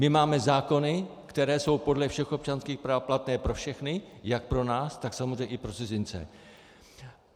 My máme zákony, které jsou podle všech občanských práv platné pro všechny - jak pro nás, tak samozřejmě i pro cizince.